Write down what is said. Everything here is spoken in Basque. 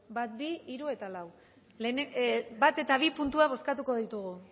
bat bi hiru eta lau bat eta bi puntuak bozkatuko ditugu